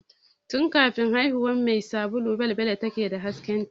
Tun kafin haihuwan mai sabulu balbela ke da hasken ta